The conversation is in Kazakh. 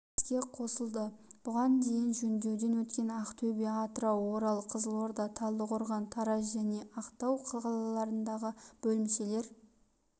іске қосылды бұған дейін жөндеуден өткен ақтөбе атырау орал қызылорда талдықорған тараз және ақтау қалаларындағы бөлімшелер